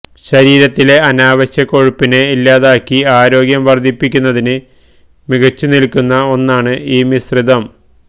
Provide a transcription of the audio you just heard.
ശരീരത്തിലെ അനാവശ്യ കൊഴുപ്പിനെ ഇല്ലാതാക്കി ആരോഗ്യം വര്ദ്ധിപ്പിക്കുന്നതിന് മികച്ച് നില്ക്കുന്ന ഒന്നാണ് ഈ മിശ്രിതം